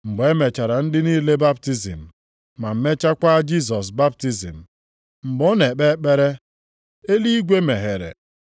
Mgbe e mechara ndị niile baptizim, ma mechakwa Jisọs baptizim, mgbe ọ na-ekpe ekpere, eluigwe meghere.